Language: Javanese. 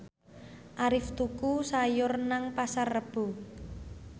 Arif tuku sayur nang Pasar Rebo